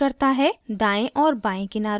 * दायें और बाएं किनारों को